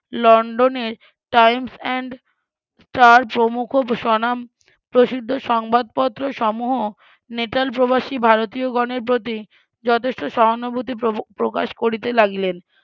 লন্ডনের times and star প্রমুখ স্বনাম প্রসিদ্ধ সংবাদপত্র সমুহ নেটালপ্রবাসি ভারতীয়গণের প্রতি যথেষ্ট সহানুভূতি ~ প্রকাশ করিতে লাগিলেন